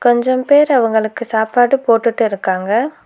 கொஞ்சம் பேரு அவங்களுக்கு சாப்பாடு போட்டுட்டு இருக்காங்க.